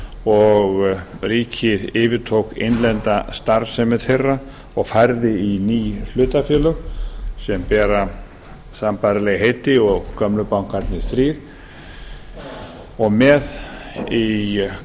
og ríkið yfirtók innlenda starfsemi þeirra og færði í ný hlutafélög sem bera sambærileg heiti og gömlu bankarnir þrír með í